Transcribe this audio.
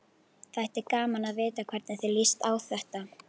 Þætti gaman að vita hvernig þér líst á þetta?